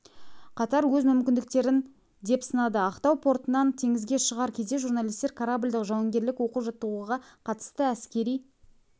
қатар өз мүмкіндіктерін деп сынады ақтау портынан теңізге шығар кезде журналистер кораблдік-жауынгерлік оқу-жаттығуға қатысты әскери